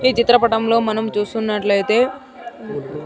ఈ చిత్రపటంలో మనం చూస్తునట్లైతే.